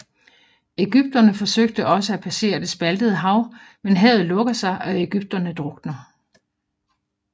Egypterne forsøger også at passere det spaltede hav men havet lukker sig og egypterne drukner